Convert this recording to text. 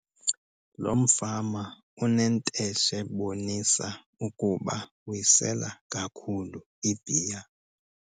Lo mfama unenteshe ebonisa ukuba uyisela kakhulu ibhiya.